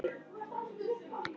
Þín dóttir, Eyrún.